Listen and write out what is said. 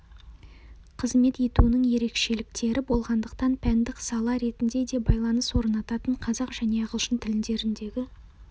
қызмет етуінің ерекшеліктері болғандықтан пәндік сала ретінде де байланыс орнататын қазақ және ағылшын тілдеріндегі